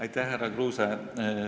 Aitäh, härra Kruuse!